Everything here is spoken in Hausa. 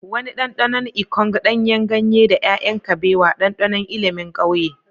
Wani ɗanɗanon ikong, ɗanyen ganye, da 'ya'yan kabewa, ɗanɗanon ilimin ƙauye.